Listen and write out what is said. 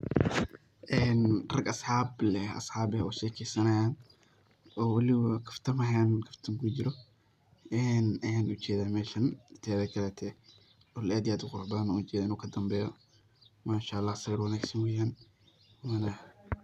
Rag asxab leh eh oo shekeysanayan oo waliba kaftamaaan kaftan kujiro ayan ujedaa meshaan een, teda kaleto dhul aad iyo aad u qurux badan ayan ujedaa inu kadanbeyo Mashaa Allah sawir wanagsan weyaan waaan.